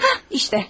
Hə, budur.